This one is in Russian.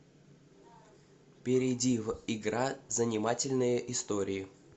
перейди в игра занимательные истории